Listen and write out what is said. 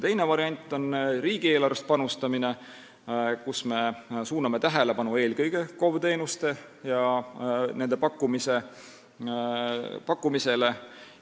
Teine variant on riigieelarvest panustamine, kus me suuname tähelepanu eelkõige KOV-ide teenustele ja nende pakkumisele.